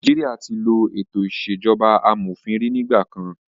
Nàìjíríà tí ló ètò ìṣèjọba amòfin rí nígbà kan.